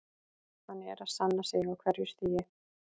Hann er að sanna sig á hverju stigi.